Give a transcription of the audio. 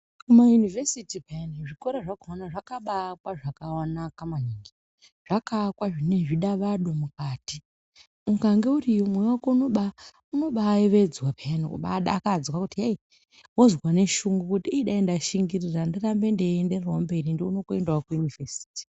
Mumayunivhesiti pheyani zvikora zvakhona zvakabaakwa zvakanaka maningi .Zvakaakwa zvine zvidavado mukati. Ukange uriyo mwoyo wako unobaayevedzwa pheyani, kubaadakadzwa kuti heyi, wozwa neshungu kuti dai ndashingirira ndirambe ndeiendererawo mberi ndione kuenda kuyunivhesiti.